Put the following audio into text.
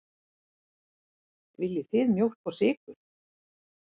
Viljið þið mjólk og sykur?